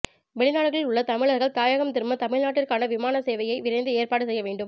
வெளிநாடுகளில் உள்ள தமிழர்கள் தாயகம் திரும்ப தமிழ்நாட்டிற்கான விமான சேவையை விரைந்து ஏற்பாடு செய்ய வேண்டும்